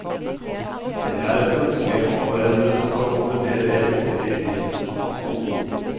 Det er et ønske at foreldrene skal komme mer reelt med i driften av skolen.